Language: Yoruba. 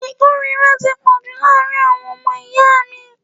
Ìkórìíra ti pọ̀jù láàárín àwọn ọmọ ìyá mi.